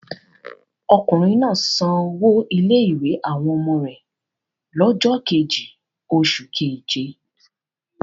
Ọkùnrin náà sanwó ilé-ìwé àwọn ọmọ rẹ̀ lọ́jọ́ kejì oṣù keje?